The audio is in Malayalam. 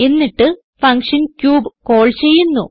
എന്നിട്ട് ഫങ്ഷൻ ക്യൂബ് കാൾ ചെയ്യുന്നു